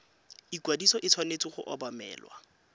ikwadiso e tshwanetse go obamelwa